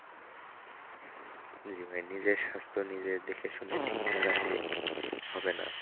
জি ভাই নিজের স্বাস্থ্য নিজে দেখে শুনে ঠিক না রাখলে হবে না।